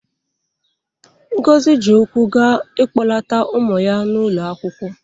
Ngozi ji ụkwụ gaa ịkpọlata ụmụ ya n'ụlọ akwụkwọ.